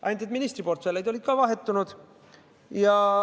Ainult ministriportfellid olid vahetunud.